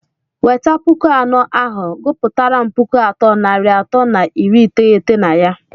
weta pụkụ anọ ahụ, gụpụtaram pụkụ atọ nari atọ na iri iteghete na ya!!!